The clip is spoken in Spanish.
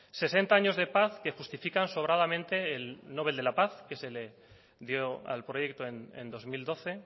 sesenta años de paz que justifican sobradamente el nobel de la paz que se le dio al proyecto en dos mil doce